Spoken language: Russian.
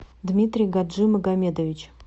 дмитрий гаджимагомедович